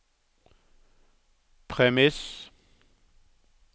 premiss